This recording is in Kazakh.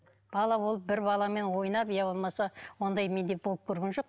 бала болып бір баламен ойнап иә болмаса ондай менде болып көрген жоқ